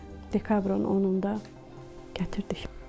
Dekabrın 10-unda gətirdik.